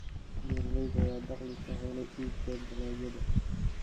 Beeralayda ayaa dakhli ka hela iibka dalagyada.